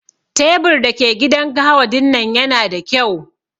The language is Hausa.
Tebur da ke gidan gahawa dinnan Yana da kyau.